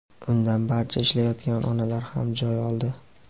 Undan barcha ishlayotgan onalar ham joy oldi.